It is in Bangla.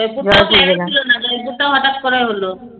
জয়পুর তো Plan এ ছিলোনা জয়পুর তো হটাৎ করে হলো